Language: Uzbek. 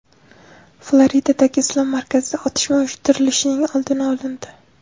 Floridadagi islom markazida otishma uyushtirilishining oldi olindi.